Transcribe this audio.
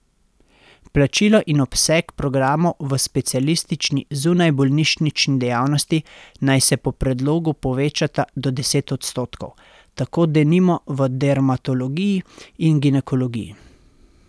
Plačilo in obseg programov v specialistični zunajbolnišnični dejavnosti naj se po predlogu povečata do deset odstotkov, tako denimo v dermatologiji in ginekologiji.